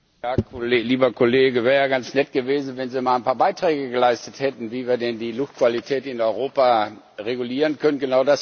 Frau Präsidentin! Ja, lieber Kollege, wär ja ganz nett gewesen, wenn Sie mal ein paar Beiträge geleistet hätten, wie wir denn die Luftqualität in Europa regulieren können.